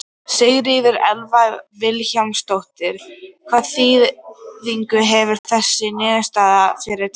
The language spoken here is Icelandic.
Sigríður Elva Vilhjálmsdóttir: Hvaða þýðingu hefur þessi niðurstaða fyrir Tal?